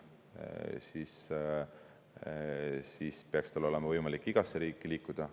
peaks olema võimalik igasse riiki liikuda.